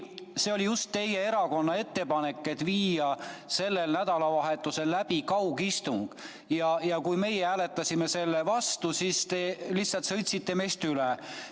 See oli just teie erakonna ettepanek viia sellel nädalal läbi kaugistung ja kui meie hääletasime selle vastu, siis te lihtsalt sõitsite meist üle.